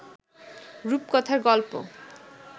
রুপকথার গল্প